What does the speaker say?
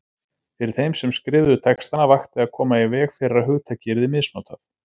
Fyrir þeim sem skrifuðu textana vakti að koma í veg fyrir að hugtakið yrði misnotað.